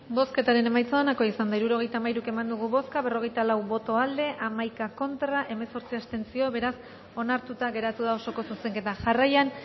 bozketaren emaitza onako izan da hirurogeita hamairu eman dugu bozka berrogeita lau boto aldekoa hamaika contra hemezortzi abstentzio beraz onartuta geratu da osoko zuzenketa jarraian